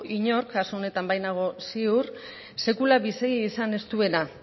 inork kasu honetan bai nago ziur sekula bizi izan ez duena